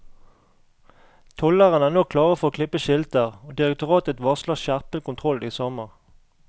Tollerne er nå klare for å klippe skilter, og direktoratet varsler skjerpet kontroll i sommer.